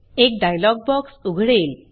एक dialog box उघडेल